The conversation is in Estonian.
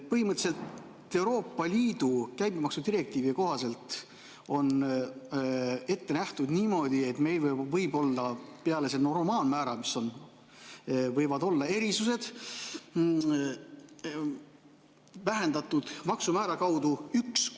Põhimõtteliselt on Euroopa Liidu käibemaksudirektiivi kohaselt ette nähtud niimoodi, et peale normaalmäära võib meil olla üks kuni kaks vähendatud maksumäära erisust.